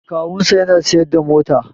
Kawunsa yana siyar da mota